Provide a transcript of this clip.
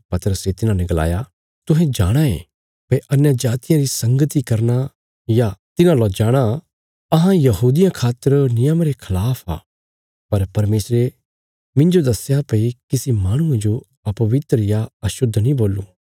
पतरसे तिन्हांने गलाया तुहें जाणाँ यें भई अन्यजातियां री संगती करना या तिन्हां ला जाणा अहां यहूदियां खातर नियमा रे खलाफ आ पर परमेशरे मिन्जो दस्या भई किसी माहणुये जो अपवित्र या अशुद्ध नीं बोलूं